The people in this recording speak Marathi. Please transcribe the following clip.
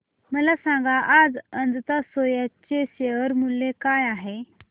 मला सांगा आज अजंता सोया चे शेअर मूल्य काय आहे